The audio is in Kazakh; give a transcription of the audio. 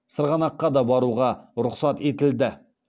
сырғанаққа да баруға рұқсат етілді